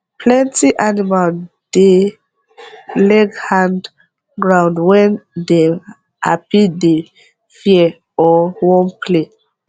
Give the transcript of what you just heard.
plenty animal dey leg hand groundwen dem happydey fear or wan play